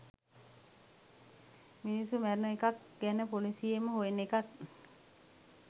මිනිස්සු මැරුණ එකක් ගැන පොලිසියෙන් හොයන එකක්